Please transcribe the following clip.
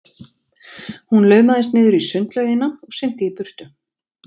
Hún laumaðist niður í sundlaugina og synti í burtu.